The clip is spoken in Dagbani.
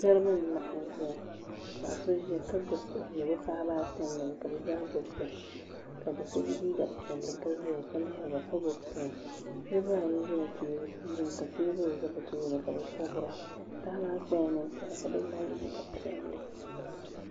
Niriba n laɣim zɛya ka paɣi so zaya ka gbubi o bia bi paɣaba ata nyɛba ka bi gba gbubi bihi ka doo so ye liiga piɛli ka ziya ka lihiriba ka gbubi pɛn niriba ayi zimi ka tɛɛbuli za bi tooni ka bi sabira paɣa maa kpala nini kpara ka doo maa ye liiga piɛlli.